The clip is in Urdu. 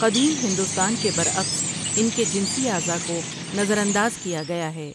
قدیم ہندوستان کے برعکس ان کے جینسی اعضاء کو نظر انداز کیا گیا ہے ۔